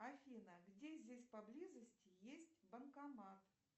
афина где здесь поблизости есть банкомат